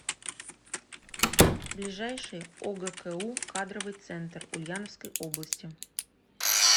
ближайший огку кадровый центр ульяновской области